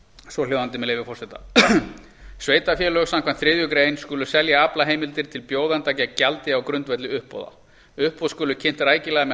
svohljóðandi með leyfi forseta b sveitarfélög samkvæmt þriðju grein a skulu selja aflaheimildir til bjóðenda gegn gjaldi á grundvelli uppboða uppboð skulu kynnt rækilega með